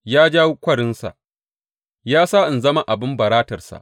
Ya ja kwarinsa ya sa in zama abin baratarsa.